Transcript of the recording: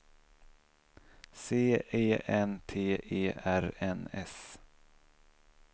C E N T E R N S